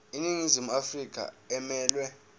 iningizimu afrika emelwe